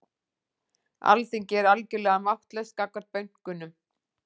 Alþingi er algjörlega máttlaust gagnvart bönkunum